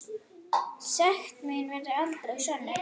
Sekt mín verður aldrei sönnuð.